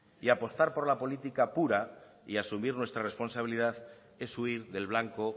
y apostar por las política pura y asumir nuestra responsabilidad es huir del blanco